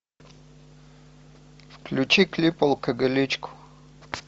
включи клип алкоголичка